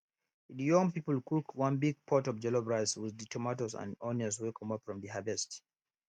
de young people cook one big pot of jollof rice with tomatoes and onions wey comot from de harvest